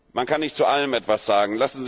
Man kann nicht zu allem etwas sagen.